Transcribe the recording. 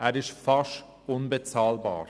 Er ist fast unbezahlbar.